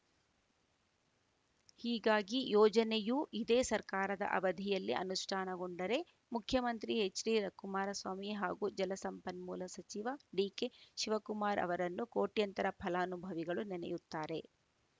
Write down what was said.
ಹೀಗಾಗಿ ಯೋಜನೆಯು ಇದೇ ಸರ್ಕಾರದ ಅವಧಿಯಲ್ಲಿ ಅನುಷ್ಠಾನಗೊಂಡರೆ ಮುಖ್ಯಮಂತ್ರಿ ಎಚ್‌ಡಿ ಕುಮಾರಸ್ವಾಮಿ ಹಾಗೂ ಜಲಸಂಪನ್ಮೂಲ ಸಚಿವ ಡಿಕೆ ಶಿವಕುಮಾರ್‌ ಅವರನ್ನು ಕೋಟ್ಯಂತರ ಫಲಾನುಭವಿಗಳು ನೆನೆಯುತ್ತಾರೆ